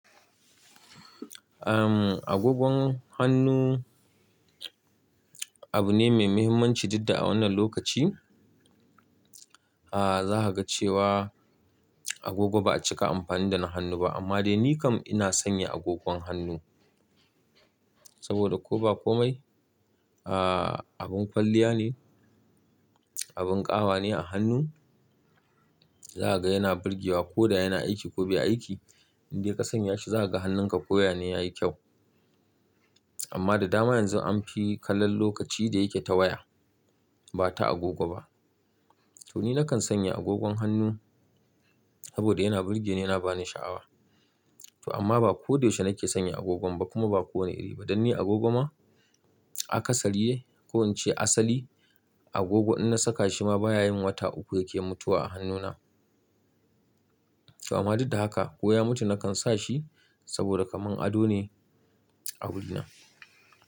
Ahm, agogon hannu abu ne mai mahimmanci duk da a wannan lokaci, ah za ka ga cewa agogo ba a cika amfani da na hannu ba. Amma dai ni kam ina sanya agogon hannu saboda ko ba komai, ah abin kwalliya ne, abin ƙawa ne a hannu. Za ka ga yana burgewa ko da yana aiki ko bai aiki. In dai ka sanya shi za ka ga hannunka koya ne yayi kyau. Amma da dama yanzu an fi kallon lokaci da yake ta waya ba ta agogo ba. To ni nakan sanya agogon hannu saboda yana burgeni yana ba ni sha'awa. To amma ba ko da yaushe nake sanya agogon ba kuma ba ko wanne iri bane. Dan ni agogo ma akasari dai ko in ce asali agogo in na saka shi ma baya yin wata uku yake mutuwa a hannuna. To amma duk da haka ko ya mutu nakan sa shi saboda kaman ado ne a wurina.